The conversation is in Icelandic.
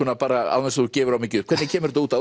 án þess að þú gefir of mikið upp hvernig kemur þetta út